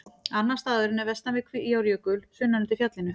Annar staðurinn er vestan við Kvíárjökul, sunnan undir fjallinu.